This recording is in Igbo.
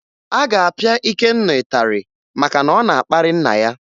A ga-apịa Ikenna ịtarị maka na ọ na-akparị nna ya